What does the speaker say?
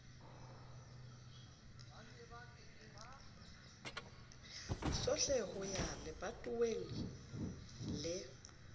sohle ho ya lebatoweng le